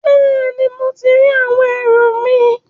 Bẹẹni, mo ti ri àwọn ẹrù mi